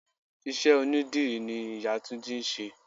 Ìṣe onidírì ni ìyá túnjí ń ṣe.